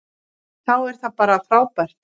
Þá er það bara frábært.